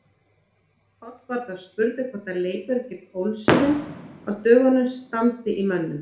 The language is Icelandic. Páll var þá spurður hvort leikurinn gegn Ólsurum á dögunum standi í mönnum.